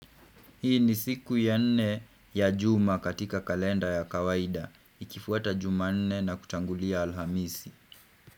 Hii ni siku ya nne ya juma katika kalenda ya kawaida Ikifuata juma nne na kutangulia alhamisi.